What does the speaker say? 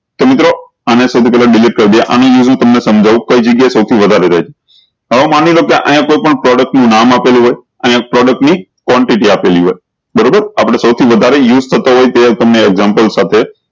આને સૌ થી પેહલા delete કરી દિયે તમને શામ્જાઉં કઈ જગ્યાએ સૌ થીઓ વધારે રેહ હવે માની લો કે અયીયા કોઈ પણ product નું નામ આપેલું હોય અયીયા product quantity ની આપેલી હોય બરોબર આપળે સૌ થી વધારે use થતા હોય તે તમને example સાથે